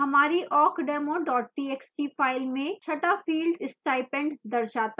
हमारी awkdemo txt file में छठा field stipend दर्शाता है